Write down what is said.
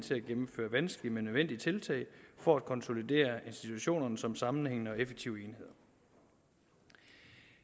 til at gennemføre vanskelige men nødvendige tiltag for at konsolidere institutionerne som sammenhængende og effektive enheder